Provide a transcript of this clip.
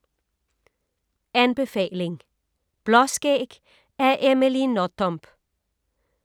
Anbefaling: Blåskæg af Amelie Nothomb